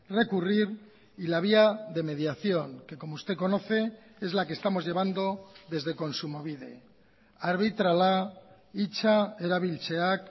recurrir y la vía de mediación que como usted conoce es la que estamos llevando desde kontsumobide arbitrala hitza erabiltzeak